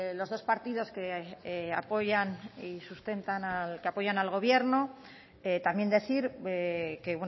los dos partidos que apoyan y sustentan que apoyan al gobierno también decir que